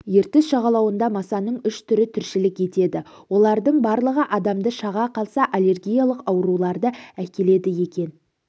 ертіс жағалауында масаның үш түрі тіршілік етеді олардың барлығы адамды шаға қалса аллергиялық ауруларды әкеледі екен